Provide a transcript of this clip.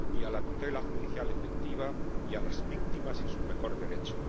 la tutela judicial efectiva, ni a las víctimas y su mejor derecho.